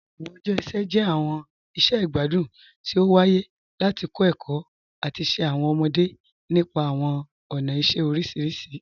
Awọn ọjọ iṣẹ jẹ awọn iṣẹ igbadun ti o waaye lati kọ ẹkọ ati ṣe awọn ọmọde nípa awọn ọna iṣẹ oriṣiriṣi.